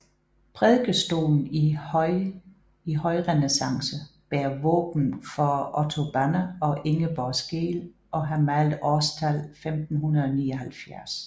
Prædikestolen i højrenæssance bærer våben for Otto Banner og Ingeborg Skeel og har malet årstal 1579